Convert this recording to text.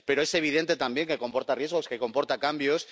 Pero es evidente también que comporta riesgos, que comporta cambios